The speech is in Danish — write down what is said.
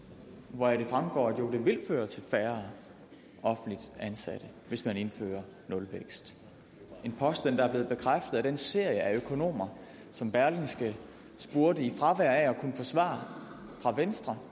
hvoraf det fremgår af det jo vil føre til færre offentligt ansatte hvis man indfører nulvækst en påstand der er blevet bekræftet af den serie af økonomer som berlingske spurgte i fravær af at kunne få svar fra venstre